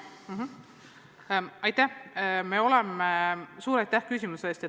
Suur aitäh küsimuse eest!